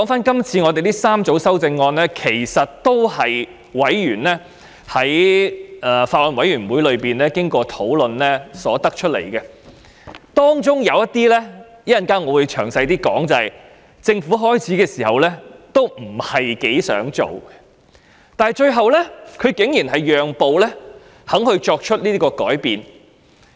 這3組修正案其實也是經過法案委員會委員討論而得出的，其中一些修正案——我稍後會再詳談——政府最初不大想處理，但最後竟然讓步作出修正。